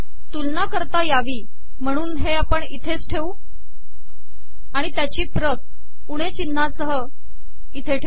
तुलना करता यावी महणून हे इथेच ठेवू आिण तयाची पत उणे िचनहासह इथे ठेव